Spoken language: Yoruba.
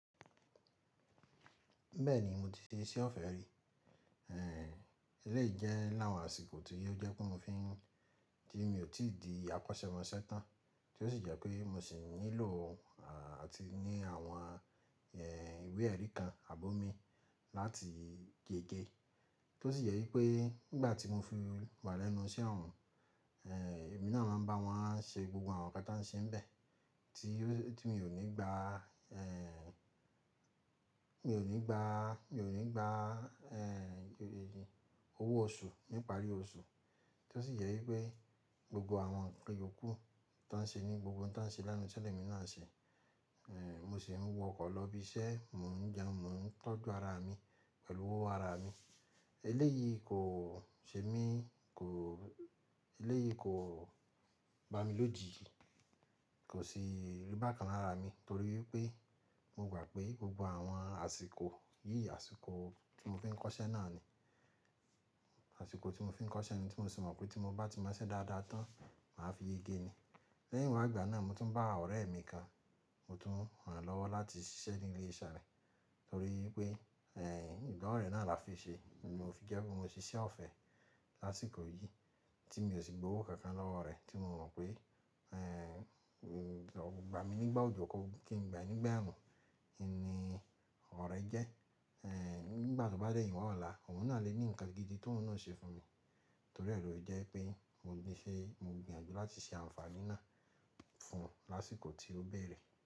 Bẹ́ẹ̀ ni mo ti ṣe iṣẹ́ ọ̀fẹ́ rí, ẹ́ lẹ́ẹ̀ jẹ́ láwọn àsìkò tí ó jẹ́ kí mo fi ń tí mi ò tí ì di akọ́ṣẹ́mọṣẹ́ tán, tí ó sì jẹ́ pé mo sì ń nílò àti ní àwọn ìwé ẹ̀rí kan àbómi láti gegé. Tí ó sì yẹ wípé nígbà tí mo fi wà lẹ́nu iṣẹ́ ọ̀hún, èmi náà máa ń bá wọn ṣe gbogbo àwọn nǹkan tí wọ́n ṣe níbẹ̀, tí ó tí mi ò ní gba, mi ò ní gba, mi ò ní gba owó oṣù nípa àrí oṣù. Tí ó sì yẹ wípé gbogbo àwọn ìkan yokù tó ń ṣe ní gbogbo ohun tí wọ́n ṣe lẹnu iṣẹ́ ni èmi náà ṣe. Mo sì ń wọ ọkọ̀ lọ ibi iṣẹ́, mò ń jẹun, mò ń tọ́jú ara mi pẹ̀lú owó ara mi. Eléyìí kò ṣe mí kò-- eléyìí kò bá mi lójiji, kò sì rí bákan lára mi torí pé mo gbà pé gbogbo àwọn àsìkò yìí, àsìkò tí mo fi ń kọ́ṣẹ́ náà ni, àsìkò tí mo fi ń kọ́ṣẹ́ ni tí mo sì mọ̀ pé tí mo bá ti mọṣẹ́ dáadáa tán, màá fi yege ni. Lẹ́yìn wá ìgbà náà mo tún bá ọ̀rẹ́ mi kan, mo tún ràn lọ́wọ́ láti ṣiṣẹ́ ní ilé iṣẹ́ rẹ̀ torí pé ẹ́ ìdánwò rẹ̀ náà la fi ṣe. Mo fi jẹ́ pé mo ṣe iṣẹ́ ọ̀fẹ́ lásìkò yìí tí mi ò sì gba owó kankan lọ́wọ́ rẹ̀ tí mo mọ̀ pé ẹ́ ò gba mi nígbà òjò kí n gba nígbà ààrùn, ẹ́ ni ọ̀rẹ́ jẹ́. Ẹ̀ nígbà tó bá dé ìwọ̀n ọ̀la, òun náà lè ní nǹkan gidi tí òun náà ṣe fún mi torí ẹ̀ lo jẹ́ pé mo ṣe, mo gbìyànjú láti ṣe àǹfààní náà fún un lásìkò tí ó bẹ̀rẹ̀.